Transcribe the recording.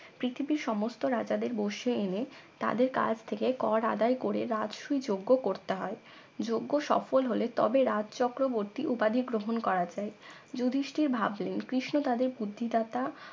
পৃথিবীর সমস্ত রাজাদের বশে এনে তাদের কাছ থেকে কর আদায় করে রাজসুই যজ্ঞ করতে হয় যজ্ঞ সফল হলে তবে রাজ চক্রবর্তী উপাধি গ্রহন করা যায় যুধিষ্টির ভাবলেন কৃষ্ণ তাদের বুদ্ধিদাতা